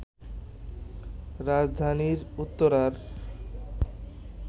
রাজধানীর উত্তরার